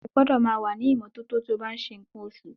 Ó gbọ́dọ̀ máa wà ní ìmọ́tótó tí ó bá ń ṣe nǹkan oṣù.